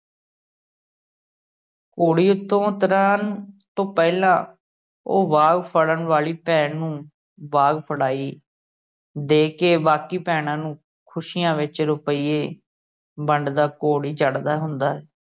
ਘੋੜੀ ਉੱਤੋਂ ਉਤਰਣ ਤੋਂ ਪਹਿਲਾ ਉਹ ਵਾਗ ਫੜਨ ਵਾਲੀ ਭੈਣ ਨੂੰ ਵਾਗ ਫੜਾਈ ਦੇ ਕੇ ਬਾਕੀ ਭੈਣਾਂ ਨੂੰ ਖੁਸੀਆ ਵਿਚ ਰੁਪਈਏ ਵੰਡਦਾ ਘੋੜੀ ਚੜ੍ਹਦਾ ਹੁੰਦਾ ਹੈ।